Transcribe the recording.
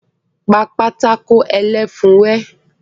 Pa pátákó ẹlẹ́fun rẹ́!